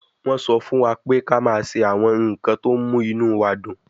Wọ́n sọ fún wa pé ká máa ṣe àwọn nǹkan tó mú inú wa dùn